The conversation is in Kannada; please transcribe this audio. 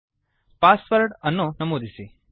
passwordಪಾಸ್ ವರ್ಡ್ ಅನ್ನು ನಮೂದಿಸಿ